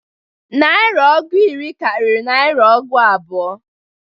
Narịa ọgụ iri karịrị narịa ọgụ abụọ.